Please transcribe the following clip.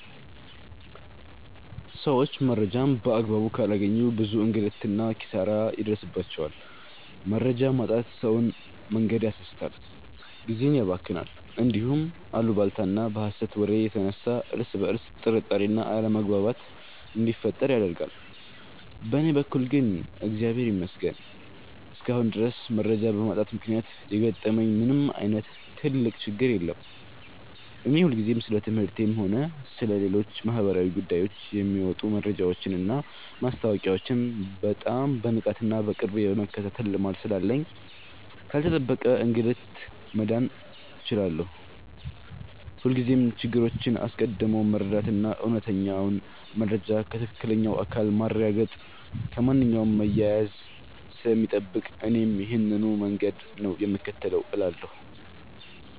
ሰዎች መረጃን በአግባቡ ካላገኙ ብዙ እንግልትና ኪሳራ ይደርስባቸዋል። መረጃ ማጣት ሰውን መንገድ ያሳስታል፣ ጊዜን ያባክናል፣ እንዲሁም በአሉባልታና በሐሰት ወሬ የተነሳ እርስ በርስ ጥርጣሬና አለመግባባት እንዲፈጠር ያደርጋል። በእኔ በኩል ግን እግዚአብሔር ይመስገን እስካሁን ድረስ መረጃ በማጣት ምክንያት የገጠመኝ ምንም ዓይነት ትልቅ ችግር የለም። እኔ ሁልጊዜም ስለ ትምህርቴም ሆነ ስለ ሌሎች ማኅበራዊ ጉዳዮች የሚወጡ መረጃዎችንና ማስታወቂያዎችን በጣም በንቃትና በቅርብ የመከታተል ልማድ ስላለኝ ካልተጠበቀ እንግልት መዳን ችያለሁ። ሁልጊዜም ነገሮችን አስቀድሞ መረዳትና እውነተኛውን መረጃ ከትክክለኛው አካል ማረጋገጥ ከማንኛውም መያያዝ ስለሚጠብቅ እኔም ይሄንኑ መንገድ ነው የምከተለው እላለሁ።